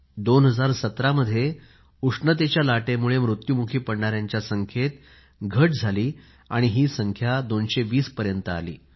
2017 मध्ये उष्णतेच्या लाटेमुळे मृत्युमुखी पडणाऱ्यांच्या संख्येत घट होऊन ही संख्या 220 पर्यंत आली